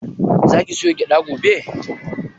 Za ki soya gyaɗa gobe?